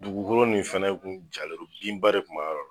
Dugukolo nin fɛnɛ kun jalen don binba de kun b'a yɔrɔ la